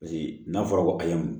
Paseke n'a fɔra ko ayi